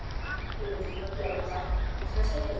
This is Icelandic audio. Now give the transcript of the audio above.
Kannski veit ég hver gerði þetta, kannski ekki.